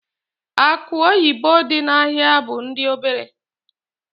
Akụ oyibo dị n'ahịa bụ ndị obere.